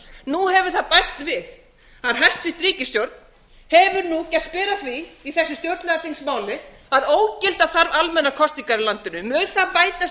nú hefur það bæst við að hæstvirt ríkisstjórn hefur nú gerst ber að því í þessu stjórnlagaþingsmáli að ógilda þarf almennar kosningar í landinu mun það bætast við aðra pólitíska